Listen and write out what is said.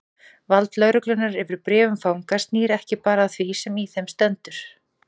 Vald lögreglunnar yfir bréfum fanga snýr ekki bara að því sem í þeim stendur.